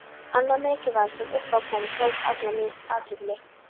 Annað mikilvægara sem upp á kom, tók alla mína athygli.